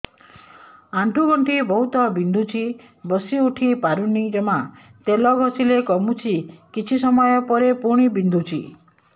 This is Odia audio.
ଆଣ୍ଠୁଗଣ୍ଠି ବହୁତ ବିନ୍ଧୁଛି ବସିଉଠି ପାରୁନି ଜମା ତେଲ ଘଷିଲେ କମୁଛି କିଛି ସମୟ ପରେ ପୁଣି ବିନ୍ଧୁଛି